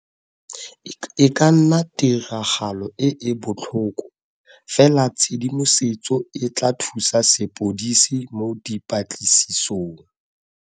E ka nna tiragalo e e botlhoko, fela tshedimosetso e tla thusa sepodisi mo dipatlisisong.